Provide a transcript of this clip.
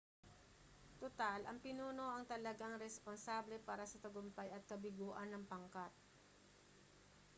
tutal ang pinuno ang talagang responsable para sa tagumpay at kabiguan ng pangkat